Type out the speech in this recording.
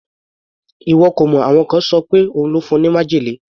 Ìwọ kò mọ̀, àwọn kan ṣọ wí pé òun ló fún un ní májèlé.